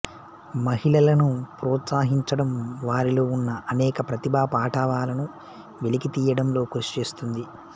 మహిళలను ప్రోత్సహించడం వారిలో ఉన్న అనేక ప్రతిభా పాటవాలను వెలికితీయడంలో కృషి చేస్తుంది